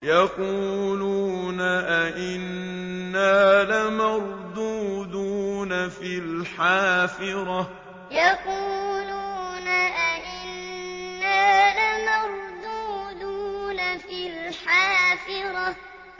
يَقُولُونَ أَإِنَّا لَمَرْدُودُونَ فِي الْحَافِرَةِ يَقُولُونَ أَإِنَّا لَمَرْدُودُونَ فِي الْحَافِرَةِ